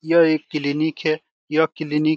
यह एक क्लिनिक है यह क्लिनिक --